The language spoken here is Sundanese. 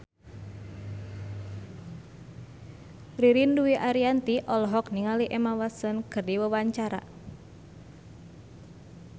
Ririn Dwi Ariyanti olohok ningali Emma Watson keur diwawancara